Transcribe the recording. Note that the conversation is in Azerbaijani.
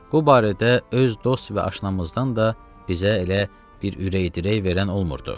Bu barədə öz dost və aşnamızdan da bizə elə bir ürək-dirək verən olmurdu.